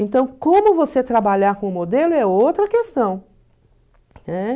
Então, como você trabalhar com o modelo é outra questão